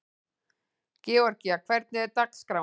Georgía, hvernig er dagskráin?